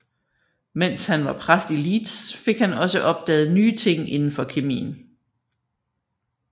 Mens han var i præst i Leeds fik han også opdaget nye ting inden for kemien